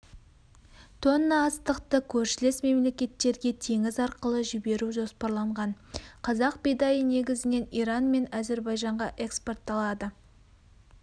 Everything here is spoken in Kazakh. тонна астықты көршілес мемлекеттерге теңіз арқылы жіберу жоспарланған қазақ бидайы негізінен иран мен әзербайжанға экспортталады